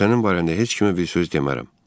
Və sənin barəndə heç kimə bir söz demərəm.